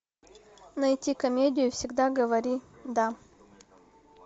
найти комедию всегда говори да